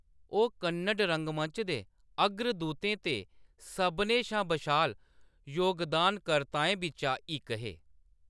ओह्‌‌ कन्नड़ रंगमंच दे अग्रदूतें ते सभनें शा बशाल योगदानकर्ताएं बिच्चा इक हे।